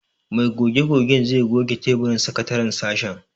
Mai goge-gogen zai goge taburin sakataren sashen.